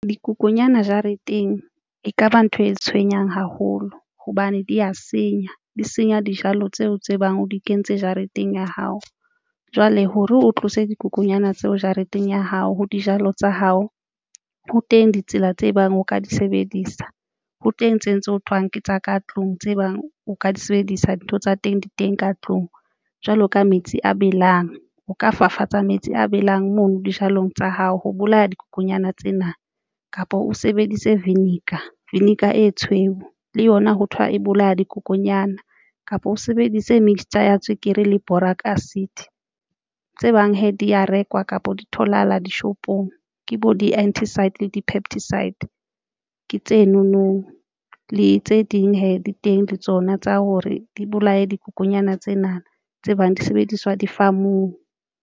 Dikokonyana jareteng ekaba ntho e tshwenyang haholo hobane di ya senya, di senya dijalo tseo tse bang o di kentse jareteng ya hao jwale hore o tlose dikokonyana tseo jareteng ya hao ho dijalo tsa hao. Ho teng ditsela tse bang o ka di sebedisa ho teng tsena tse ho thweng ke tsa ka tlung tse bang o ka di sebedisa dintho tsa teng di teng ka tlung. Jwalo ka metsi a belang, o ka fafatsa metsi a belang mono dijalong tsa hao. Ho bolaya dikokonyana tsena kapa o sebedise vinegar. Vinegar e tshweu le yona ho thwa e bolaya dikokonyana kapa o sebedise mixture ya tswekere le boric acid tse bang he di ya rekwa kapa di tholahala dishopong ke bo di antiside le di-pesticide ke tseno no le tse ding hee di teng le tsona tsa hore di bolaye dikokonyana tsena tse bang di sebediswa di-farm-ung.